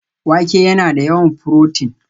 Wake yana da yawan furotin